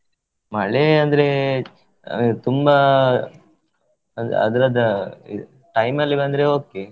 ಮಳೆ ಅಂದ್ರೆ ಅಹ್ ತುಂಬಾ ಅಹ್ ಅದ್ರದ time ಅಲ್ಲಿ ಬಂದ್ರೆ okay .